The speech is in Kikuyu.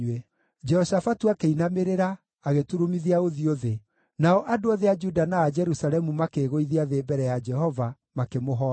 Jehoshafatu akĩinamĩrĩra, agĩturumithia ũthiũ thĩ, nao andũ othe a Juda na a Jerusalemu makĩĩgũithia thĩ mbere ya Jehova, makĩmũhooya.